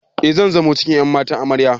E, zan zamo cikin ƴan matan Amarya.